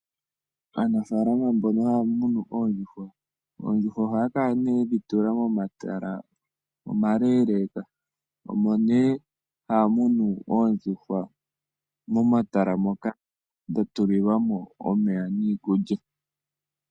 Aanafaalama mbono haya munu oondjuhwa, oondjuhwa ohaya kala nee ye dhi tula momatala omaleeleeka omo nee ha ya munu oondjuhwa momatala moka dha tulilwa mo omeya niikulya.